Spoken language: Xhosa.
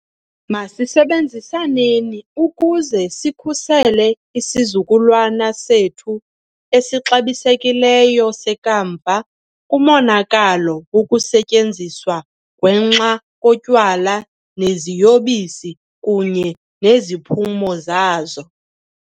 Masisebenzisaneni ukuze sikhusele isizukulwana sethu esixabisekileyo sekamva kumonakalo wokusetyenziswa gwenxa kotywala neziyobisi kunye neziphumo zazo.